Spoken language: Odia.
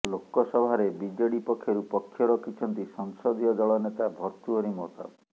ଲୋକସଭାରେ ବିଜେଡି ପକ୍ଷରୁ ପକ୍ଷ ରଖିଛନ୍ତି ସଂସଦୀୟ ଦଳ ନେତା ଭର୍ତ୍ତୃହରି ମହତାବ